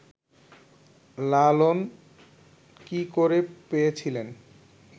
লালন কী করে পেয়েছিলেন